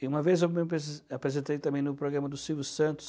E uma vez eu me apre apresentei também no programa do Silvio Santos,